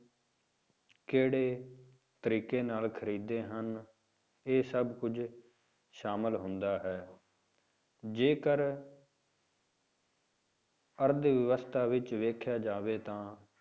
ਕਿਹੜੇ ਤਰੀਕੇ ਨਾਲ ਖ਼ਰੀਦਦੇ ਹਨ, ਇਹ ਸਭ ਕੁੱਝ ਸ਼ਾਮਿਲ ਹੁੰਦਾ ਹੈ ਜੇਕਰ ਅਰਥ ਵਿਵਸਥਾ ਵਿੱਚ ਵੇਖਿਆ ਜਾਵੇ ਤਾਂ